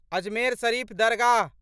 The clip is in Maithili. अजमेर शरीफ दरगाह